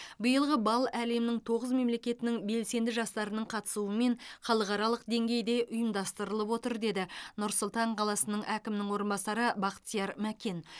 биылғы бал әлемнің тоғыз мемлекетінің белсенді жастарының қатысуымен халықаралық деңгейде ұйымдастырылып отыр деді нұр сұлтан қаласының әкімінің орынбасары бақтияр мәкен